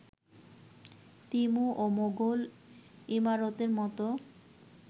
Timur ও মুঘল ইমারতের মতো